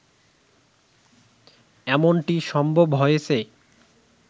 এমনটি সম্ভব হয়েছে